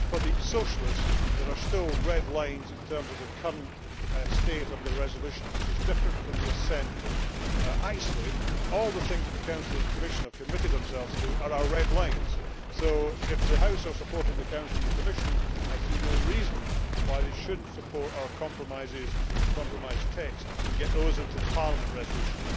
For the Socialists, there are still red lines in terms of the current state of the resolution, which is different from the assent vote. Actually, all the things that the Council and Commission have committed themselves to are our red lines. So if the House is supporting the Council and Commission, I see no reason why it should not support our compromises and compromise text and get those into the Parliament resolution.